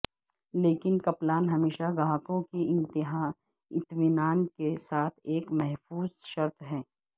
لیکن کپلان ہمیشہ گاہکوں کی اطمینان کے ساتھ ایک محفوظ شرط ہے